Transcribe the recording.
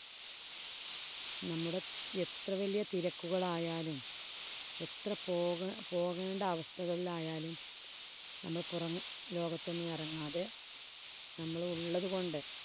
നമ്മുടെ എത്ര വലിയ തിരക്കുകളായാലും എത്ര പോക പോകേണ്ട അവസ്ഥകളായാലും നമ്മള് പുറം ലോകത്തൊന്നും ഇറങ്ങാത നമ്മള് ഉള്ളത് കൊണ്ട്